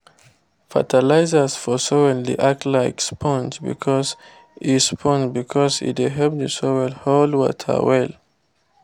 fertilizers for soil dey act like spong because e spong because e dey help the soil hold water well